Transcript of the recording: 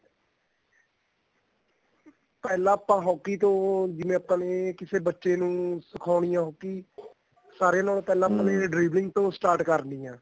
ਪਹਿਲਾਂ ਆਪਾਂ hockey ਤੋਂ ਜਿਵੇਂ ਆਪਾਂ ਤੋਂ ਕਿਸੇ ਬੱਚੇ ਨੂੰ ਸਿਖਾਉਣੀ ਏ hockey ਸਾਰੇ ਨਾਲੋ driveling ਤੋਂ start ਕਰਨੀ ਏ